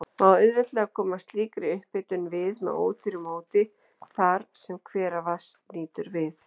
Má auðveldlega koma slíkri upphitun við með ódýru móti þar, sem hveravatns nýtur við.